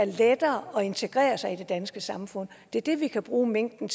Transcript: lettere at integrere sig i det danske samfund det er det vi kan bruge mængden